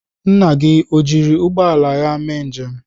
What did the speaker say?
Nna gị o jiri ụgbọ ala ya mee njem?